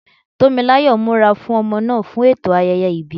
Tó mi láyọ̀ ń múra fún ọmọ náà fún ẹ̀tọ́ ayẹyẹ ìbí.